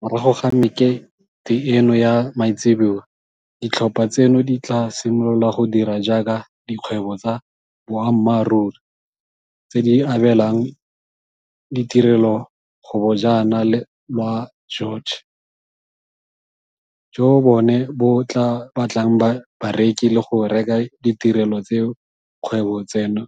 Morago ga mekete eno ya maitseboa, ditlhopha tseno di tla simolola go dira jaaka dikgwebo tsa boammaruri tse di abelang ditirelo go Bojana la jwa George, joo bone bo tla batlang bareki le go reka ditirelo tseo dikgwebo tseno